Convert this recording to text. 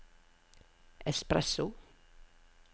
espresso